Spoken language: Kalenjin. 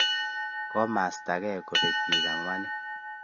Komastaake ko kapek bik angwanu